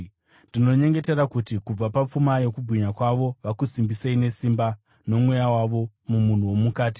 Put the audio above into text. Ndinonyengetera kuti kubva papfuma yokubwinya kwavo vakusimbisei nesimba noMweya wavo mumunhu womukati,